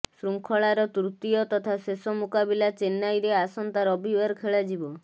ଶୃଙ୍ଖଳାର ତୃତୀୟ ତଥା ଶେଷ ମୁକାବିଲା ଚେନ୍ନାଇରେ ଆସନ୍ତା ରବିବାର ଖେଳାଯିବ